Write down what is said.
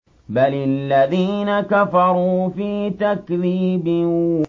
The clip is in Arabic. بَلِ الَّذِينَ كَفَرُوا فِي تَكْذِيبٍ